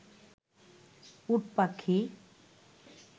উট পাখি